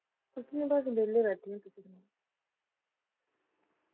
ਕੁਛ ਨੀ ਬੱਸ ਵੇਲੇ ਬੈਠੀ ਹੈ ।